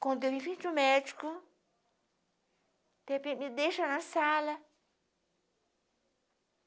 Quando eu vi que o médico, de repente me deixa na sala.